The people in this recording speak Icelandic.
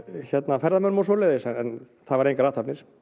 ferðamönnum og svoleiðis en það verða engar athafnir